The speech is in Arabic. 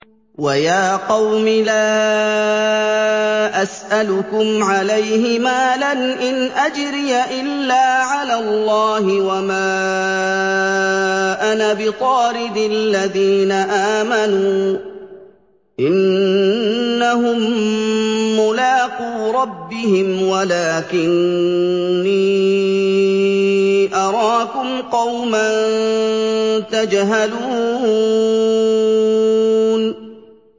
وَيَا قَوْمِ لَا أَسْأَلُكُمْ عَلَيْهِ مَالًا ۖ إِنْ أَجْرِيَ إِلَّا عَلَى اللَّهِ ۚ وَمَا أَنَا بِطَارِدِ الَّذِينَ آمَنُوا ۚ إِنَّهُم مُّلَاقُو رَبِّهِمْ وَلَٰكِنِّي أَرَاكُمْ قَوْمًا تَجْهَلُونَ